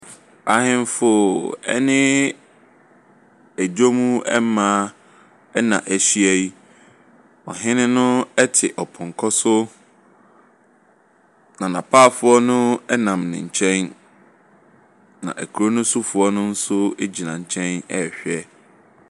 Ahemfo ne dwam mmaa na ahyia yi. Ɔhene no te ɔpɔnkɔ so, na n'apaafoɔ no nam ne nkyɛn, na kuro no sofoɔ no nso gyina nkyɛn rehwɛ.